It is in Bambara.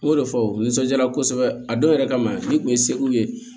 O y'o de fɔ nisɔndiya kosɛbɛ a dɔw yɛrɛ kama n'i tun ye sew ye